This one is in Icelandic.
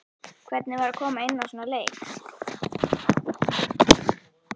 Hvernig var að koma inná í svona leik?